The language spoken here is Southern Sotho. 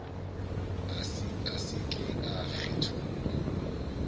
a se ke a kgethollwa